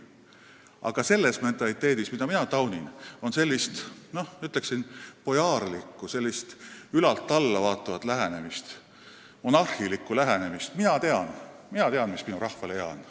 Aga selles mentaliteedis, mida mina taunin, on midagi bojaarlikku, sellist ülalt alla vaatavat, monarhilikku lähenemist, et mina tean, mis minu rahvale hea on.